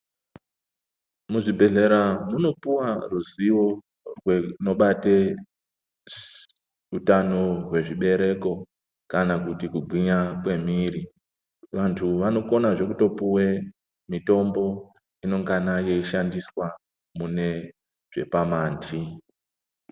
Muzvibhedhlera munopuwa ruziwo rwunobate hutano wezvibereko kana kuti kugwinya kwemwiri. Vantu vanokona zve kutopuwe mitombo inongana yeyishandiswa zvepamandi.